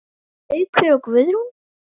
Haukur og Guðrún.